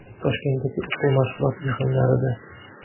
Toshkentdagi o‘quv-mashg‘ulot yig‘inlarida.